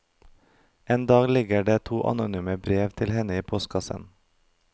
En dag ligger det to anonyme brev til henne i postkassen.